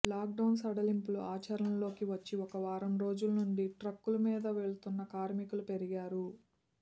lockdown సడలింపులు ఆచరణలోకి వచ్చి ఒక వారం రోజుల నుంచి ట్రక్కుల మీద వెడుతున్న కార్మికులు పెరిగారు